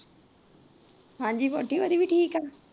ਹਾਂਜੀ ਵਹੁਟੀ ਉਹਂਦੀ ਵੀ ਠੀਕ ਏ।